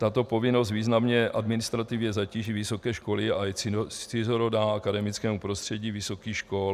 Tato povinnost významně administrativně zatíží vysoké školy a je cizorodá akademickému prostředí vysokých škol."